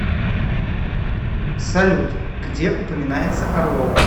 салют где упоминается орловы